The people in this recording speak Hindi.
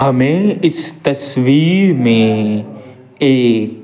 हमें इस तस्वीर में एक--